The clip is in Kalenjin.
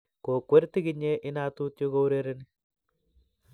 Kokwer tigiknye inatut yo kourereni